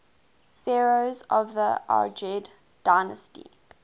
pharaohs of the argead dynasty